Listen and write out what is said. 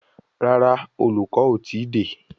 Rárá, olùkọ́ o tíì dé.